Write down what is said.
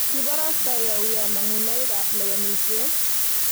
ki borostoi auyo mang'unoikab lewenisiet?